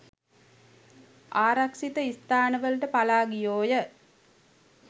ආරක්ෂිත ස්ථානවලට පලා ගියෝ ය.